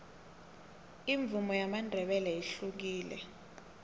imvumo yamandebele ihlukile